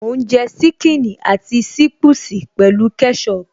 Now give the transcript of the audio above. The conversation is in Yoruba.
Mò ń jẹ ṣíkìnnì àti ṣiipusi pẹ̀lú kẹ́ṣọpù